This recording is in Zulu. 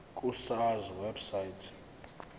ku sars website